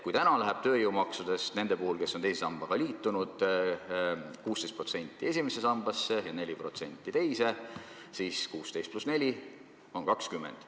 Kui praegu läheb tööjõumaksudest nende puhul, kes on teise sambaga liitunud, 16% esimesse sambasse ja 4% teise, siis 16 pluss 4 on 20.